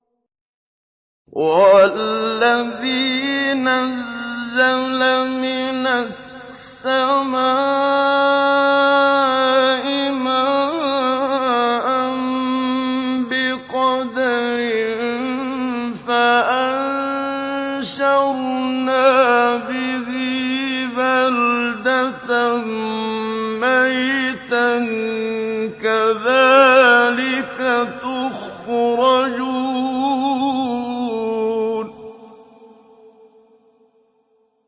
وَالَّذِي نَزَّلَ مِنَ السَّمَاءِ مَاءً بِقَدَرٍ فَأَنشَرْنَا بِهِ بَلْدَةً مَّيْتًا ۚ كَذَٰلِكَ تُخْرَجُونَ